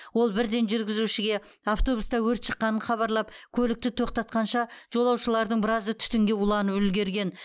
ол бірден жүргізушіге автобуста өрт шыққанын хабарлап көлікті тоқтатқанша жолаушылардың біразы түтінге уланып үлгерген